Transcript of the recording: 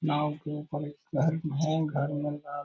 नाव के ऊपड़ एक हो घर में लाल --